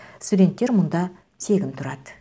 студенттер мұнда тегін тұрады